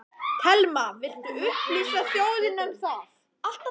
Telma: Viltu upplýsa þjóðina um það?